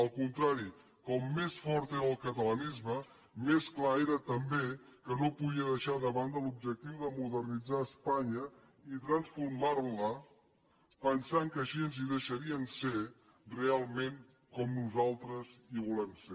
al contrari com més fort era el catalanisme més clar era també que no podia deixar de banda l’objectiu de modernitzar espanya i transformar la pensant que així ens hi deixarien ser realment com nosaltres hi volem ser